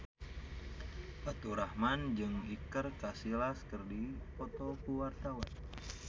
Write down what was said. Faturrahman jeung Iker Casillas keur dipoto ku wartawan